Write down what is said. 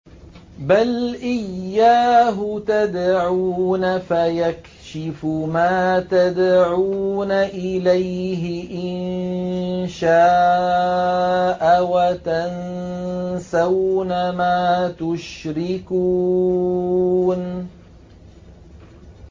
بَلْ إِيَّاهُ تَدْعُونَ فَيَكْشِفُ مَا تَدْعُونَ إِلَيْهِ إِن شَاءَ وَتَنسَوْنَ مَا تُشْرِكُونَ